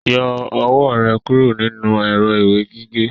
Yọ ọwọ́ rẹ kúrò nínú èrọ ìwé gígé!